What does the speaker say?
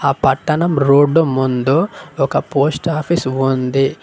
ఆ పట్టణం రోడ్డు ముందు ఒక పోస్ట్ ఆఫీస్ ఉంది.